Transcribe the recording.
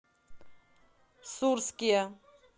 сурске